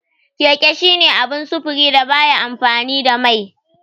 Keke shine abun sufuri da baya amfani da mai.